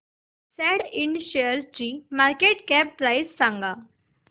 सॅट इंड शेअरची market cap price सांगा